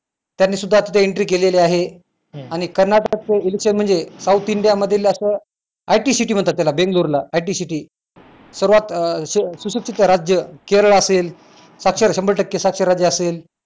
त्यांनी सुद्धा तिथे entry केलेली आहे आणि कर्नाटक election म्हणजे South India मधीलातलं IT city म्हणतात त्याला बेंगलोर ला IT city सर्वात सुशिक्षित राज्य केरळ असेल साक्षर शंभर टक्के साक्षर राज्य असेल